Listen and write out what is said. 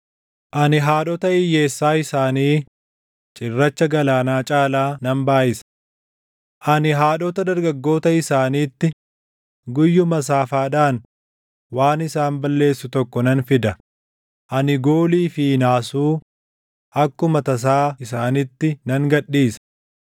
Ani haadhota hiyyeessaa isaanii cirracha galaanaa caalaa nan baayʼisa. Ani haadhota dargaggoota isaaniitti, guyyuma saafaadhaan // waan isaan balleessu tokko nan fida; ani goolii fi naasuu akkuma tasaa isaanitti nan gadhiisa.